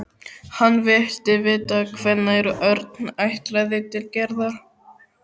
Hann vildi vita hvenær Örn ætlaði til Gerðar.